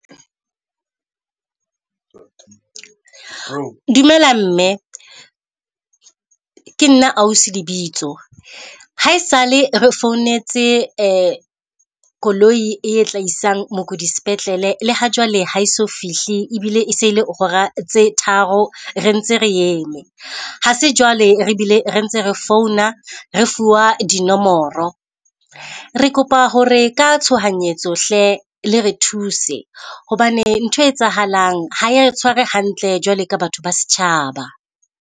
Dumela mme, ke nna ausi Lebitso. Haesale re founetse koloi e tla isang mokudi sepetlele, le ha jwale ha e so fihle e bile e se le hora tse tharo re ntse re eme. Ha se jwale re bile re ntse re founa re fuwa dinomoro. Re kopa ho re ka tshohanyetso hle le re thuse hobane nthwe etsahalang ha ya re tshware hantle jwalo ka batho ba setjhaba.